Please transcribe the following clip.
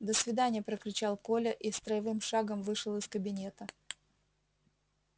до свидания прокричал коля и строевым шагом вышел из кабинета